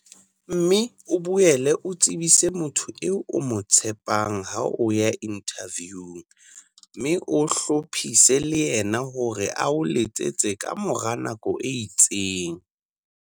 Mme o boele o tsebise motho eo o mo tshepang ha o ya inthaviung mme o hlophise le yena hore a o letsetse ka mora nako e itseng.